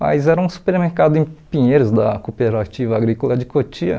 mas era um supermercado em Pinheiros da Cooperativa Agrícola de Cotia.